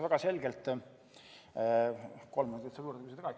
Kas kolm minutit saab juurde?